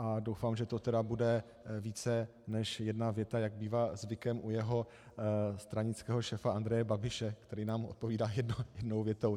A doufám, že to tedy bude více než jedna věta, jak bývá zvykem u jeho stranického šéfa Andreje Babiše, který nám odpovídá jednou větou.